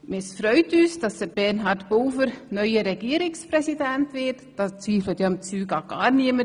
Es freut uns, dass Bernhard Pulver neu Regierungspräsident wird – denn daran zweifelt ja offensichtlich niemand.